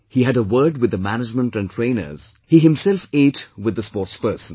He had a word with the management and trainers; he himself ate with the sportspersons